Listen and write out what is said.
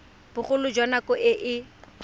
bogolo jwa nako e e